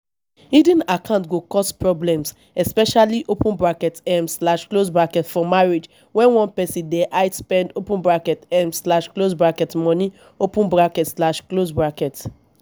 hidden accounts go cause problems especially um for marriage when one person dey hide spend um money um